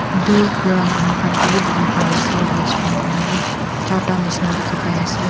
dur pra manu khan kae bi dikhipaiase restaurant khan bi charta nishina dikhipaiase.